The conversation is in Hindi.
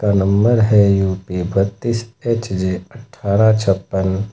नंबर है यू_पी बत्तीस एच_जे अट्ठारह छप्पन।